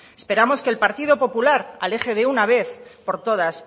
esperamos que el partido popular aleje de una vez por todas